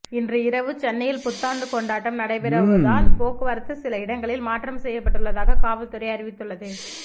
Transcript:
இன்று இரவு சென்னையில் புத்தாண்டு கொண்டாட்டம் நடைபெறுவதால் போக்குவரத்து சில இடங்களில் மாற்றம் செய்யப்பட்டுள்ளதாக காவல்துறை அறிவித்துள்ளது